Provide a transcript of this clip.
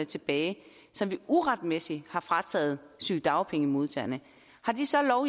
tilbage som de uretmæssigt har frataget sygedagpengemodtagerne har de så